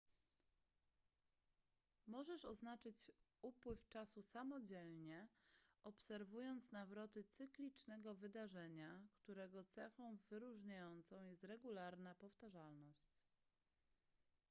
możesz oznaczyć upływ czasu samodzielnie obserwując nawroty cyklicznego wydarzenia którego cechą wyróżniającą jest regularna powtarzalność